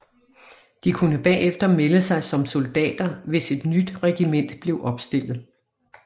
De kunne bagefter melde sig som soldater hvis et nyt regiment blev opstillet